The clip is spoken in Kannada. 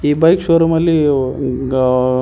ಈ ಬೈಕ್ ಶೋರೂಮ್ ಅಲ್ಲಿ ಗ.